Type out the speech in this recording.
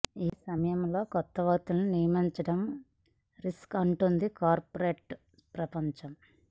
ఈ సమయంలో కొత్త వ్యక్తులను నియమించడం రిస్కే అంటోంది కార్పొరేట్ ప్రపంచం